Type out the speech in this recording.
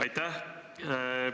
Aitäh!